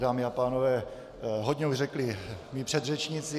Dámy a pánové, hodně už řekli mí předřečníci.